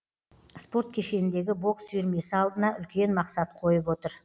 спорт кешеніндегі бокс үйірмесі алдына үлкен мақсат қойып отыр